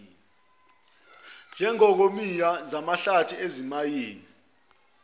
njengokongiwa ezamahlathi ezezimayini